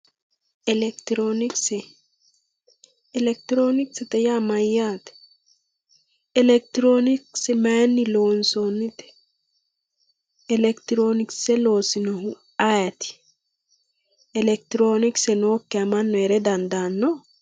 elekitiroonikise elekitiroonikise yaa mayyate? elekitiroonikise mayinni loonsoonnite? elekitiroonikise loosinohu ayeeti? elekitiroonikise nookkiha mannu heere dandaanno?